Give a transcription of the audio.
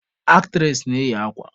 Aktres na-eyi akwa.